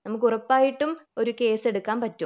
നമുക്കുറപ്പായിട്ടും ഒരു കേസ് എടുക്കാൻ പറ്റും